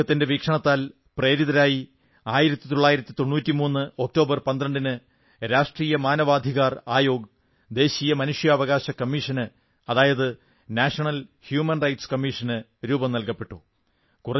അദ്ദേഹത്തിന്റെ വീക്ഷണത്തിൽ പ്രേരിതരായി 1993 ഒക്ടോബർ 12 ന് രാഷ്ട്രീയ മനാവാധികാർ ആയോഗ് ദേശീയ മനുഷ്യാവകാശ കമ്മീഷന് അതായത് നാഷനൽ ഹ്യൂമൻ റൈറ്റ്സ് കമ്മീഷന് രൂപം നൽകപ്പെട്ടു